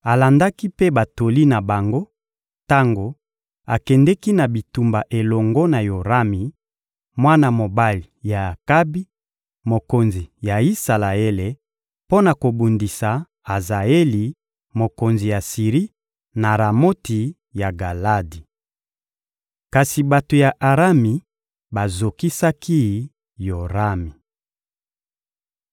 Alandaki mpe batoli na bango tango akendeki na bitumba elongo na Yorami, mwana mobali ya Akabi, mokonzi ya Isalaele, mpo na kobundisa Azaeli, mokonzi ya Siri, na Ramoti ya Galadi. Kasi bato ya Arami bazokisaki Yorami.